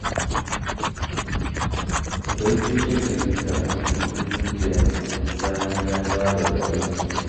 Baito takan yi karatu kullum da yamma bayan ta dawo daga aiki